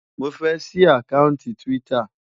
Mo fẹ́ ṣí àkáùntì Twitter.